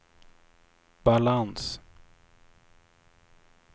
balans